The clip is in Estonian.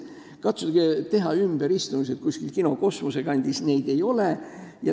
Katsuge teha ümberistumised kuskil Kosmose kino kandis – see pole võimalik!